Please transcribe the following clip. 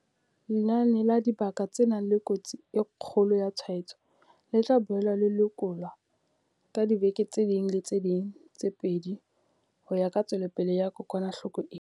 Lenane la dibaka tse nang le kotsi e kgolo ya tshwaetso le tla boela le lekolwa ka diveke tse ding le tse ding tse pedi ho ya ka tswelopele ya kokwanahloko ena.